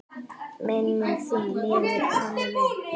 Minning þín lifir, Konni minn.